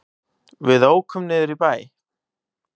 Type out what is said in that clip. Við ókum niður í bæ.